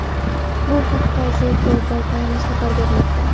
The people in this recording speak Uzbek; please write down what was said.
Bu haqda The Global Times xabar bermoqda .